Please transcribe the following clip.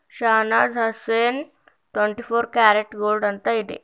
Shahnaz Husain twenty four carat gold ಅಂತ ಇದೆ.